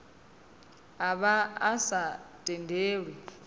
a vha a sa tendelwi